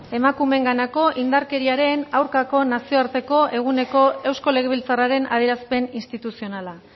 emakumeenganako indarkeriaren aurkako nazioarteko eguneko eusko legebiltzarraren adierazpen instituzionala